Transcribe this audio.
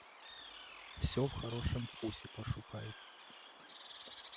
все в хорошем вкусе пошукай